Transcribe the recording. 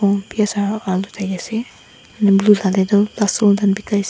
piyas aro alu biase aru blue late toh lasun khan bikaiase.